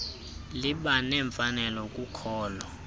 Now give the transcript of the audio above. liba nemfanelo kukholo